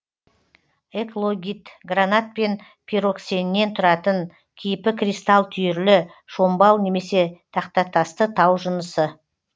эклогит гранат пен пироксеннен тұратын кейпі кристалл түйірлі шомбал немесе тақтатасты тау жынысы